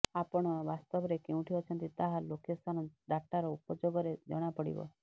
ଆପଣ ବାସ୍ତବରେ କେଉଁଠି ଅଛନ୍ତି ତାହା ଲୋକେସନ ଡାଟାର ଉପଯୋଗରେ ଜଣାପଡିବ